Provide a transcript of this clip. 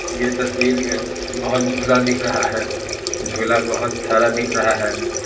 यह तस्वीर मे बहुत झूला दिख रहा है झूला बहुत सारा दिख रहा है।